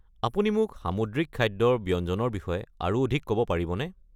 আপুনি মোক সামুদ্ৰিক খাদ্যৰ ব্যঞ্জনৰ বিষয়ে আৰু অধিক ক'ব পাৰিবনে?